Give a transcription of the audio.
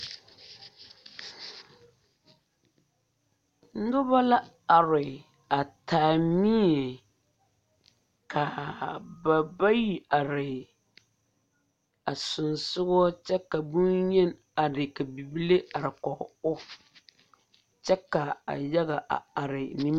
Noba la are a taa mie kaa ba bayi are a sensɔgɔ boŋyeni are ka bibile are kɔge o kyɛ ka a yaga a are nimi.